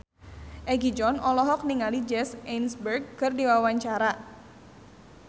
Egi John olohok ningali Jesse Eisenberg keur diwawancara